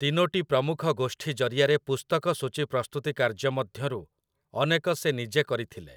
ତିନୋଟି ପ୍ରମୁଖ ଗୋଷ୍ଠୀ ଜରିଆରେ ପୁସ୍ତକ ସୂଚୀ ପ୍ରସ୍ତୁତି କାର୍ଯ୍ୟ ମଧ୍ୟରୁ ଅନେକ ସେ ନିଜେ କରିଥିଲେ ।